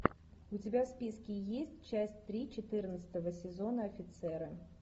у тебя в списке есть часть три четырнадцатого сезона офицеры